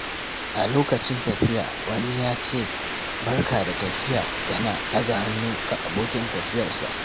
A lokacin tafiya, wani ya ce, "Barka da tafiya" yana ɗaga hannu ga abokin tafiyarsa.